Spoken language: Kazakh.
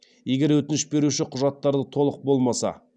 егер өтініш беруші құжаттарлы толық болмаса